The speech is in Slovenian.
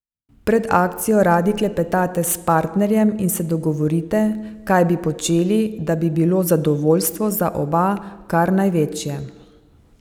Pred akcijo radi klepetate s partnerjem in se dogovorite, kaj bi počeli, da bi bilo zadovoljstvo za oba kar največje.